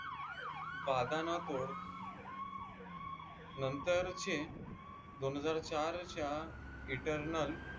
वादा न तोड नंतर चे दोन हजार चार च्या इतरनल